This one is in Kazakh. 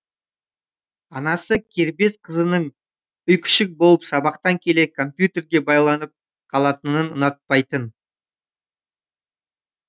анасы кербез қызының үйкүшік болып сабақтан келе компьютерге байланып қалатынын ұнатпайтын